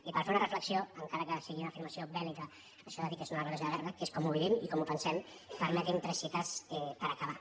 i per fer una refle·xió encara que sigui una afirmació bèl·lica això de dir que és una declaració de guerra que és com ho vivim i com ho pensem permetin·me tres cites per acabar